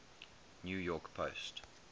new york post